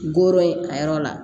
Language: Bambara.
Goro ye a yɔrɔ la